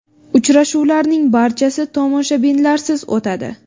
Uchrashuvlarning barchasi tomoshabinlarsiz o‘tadi.